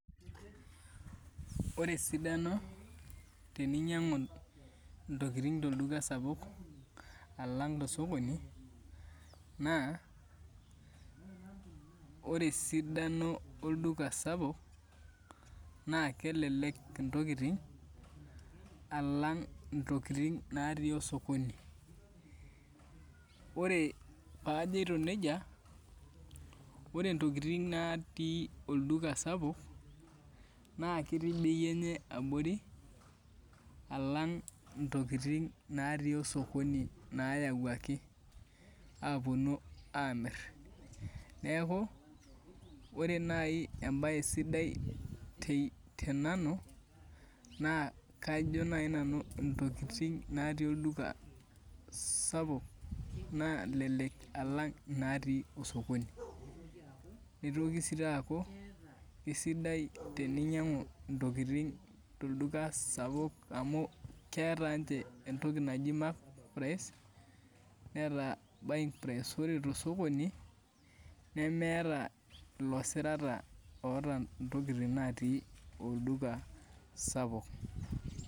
Ore esidano teninyangu intokiting tolduka sapuk alang' tosokoni naa ore esidano olduka sapuk naa kelelek intokiting alang' intokiting natii osokoni Ore paajito neija ore ntokiting natii olduka sapuk naa ketii bei enye abori alang ntokiting natii osokoni nayawuaki aamir niaku ore nai embae sidai tenanu naa kajo nai nanu intokiting natii olduka sapuk nalelek alang inatii osokoni Nitoki sii taa aku esidai eninyang'u intokiting tolduka sapuk amu keeta ninche entoki naji markedprice neeta buyingprice ore tosokoni nemeeta ilo sirata oota ntokiting natii olduka sapuk